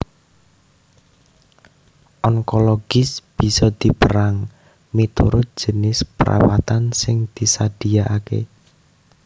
Onkologis bisa dipérang miturut jinis perawatan sing disadiakaké